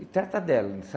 E trata dela,